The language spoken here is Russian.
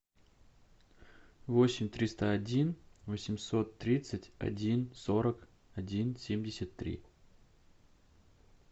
восемь триста один восемьсот тридцать один сорок один семьдесят три